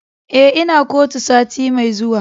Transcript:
Eh, Ina kotu sati Mai zuwa.